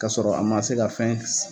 K'a sɔrɔ a ma se ka fɛn